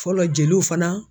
Fɔlɔ jeliw fana.